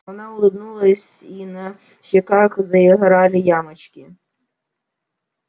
она улыбнулась и на щеках заиграли ямочки